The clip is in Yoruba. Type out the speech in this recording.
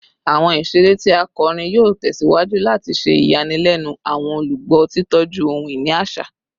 Awọn iṣere ti a kọrin yoo tẹsiwaju lati ṣe iyanilẹnu awọn olugbo, titọju ohun-ini aṣa